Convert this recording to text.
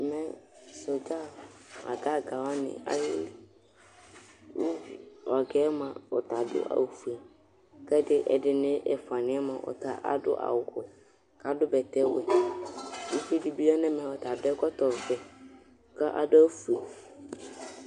Ɛmɛ, sɔɖza ãgã ãgã waní, ayeli Ku ɔga yɛ mua, ɔta aɖu awu fue Ku ɛɖi ɛɖini, ɛfuani yɛ mua, ɔta aɖu awu wɛ, ku aɖu bɛtɛ wɛ Uʋiɖi bi yã nu ɛmɛ Ɔta aɖu ɛkɔtɔ ʋɛ, ku aɖu awu fue